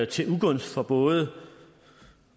til ugunst for både